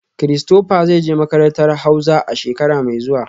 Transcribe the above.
Christopher zai je makarantar hauza a shekara mai zuwa